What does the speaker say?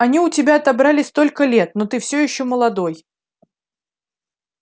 они у тебя отобрали столько лет но ты всё ещё молодой